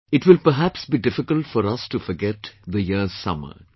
It will perhaps be difficult for us to forget the year's summer